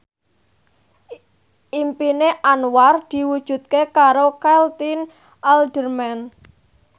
impine Anwar diwujudke karo Caitlin Halderman